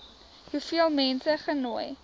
hoeveel mense genooi